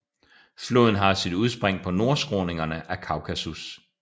Floden har sit udspring på nordskråningerne af Kaukasus